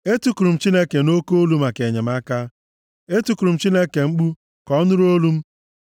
Etikuru m Chineke nʼoke olu maka enyemaka; etikuru m Chineke mkpu ka ọ nụrụ olu m.